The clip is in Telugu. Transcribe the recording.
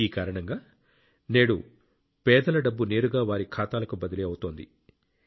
ఈ కారణంగా నేడు పేదల డబ్బు నేరుగా వారి ఖాతాలకు బదిలీ అవుతోంది